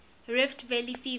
rift valley fever